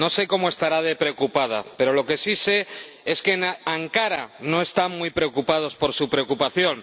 No sé cómo estará de preocupada, pero lo que sí sé es que en Ankara no están muy preocupados por su preocupación.